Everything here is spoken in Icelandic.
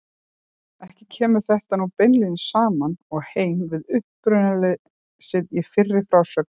Ekki kemur þetta nú beinlínis saman og heim við uppburðarleysið í fyrri frásögnum af vettvangi.